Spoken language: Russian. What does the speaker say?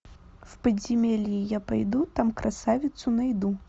в подземелье я пойду там красавицу найду